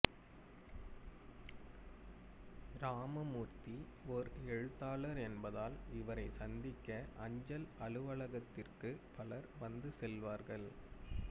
ராமமூர்த்தி ஓர் எழுத்தாளர் என்பதால் இவரைச் சந்திக்க அஞ்சல் அலுவலகத்திற்கு பலர் வந்து செல்வார்கள்